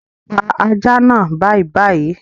Pa ajá naa bàìbàì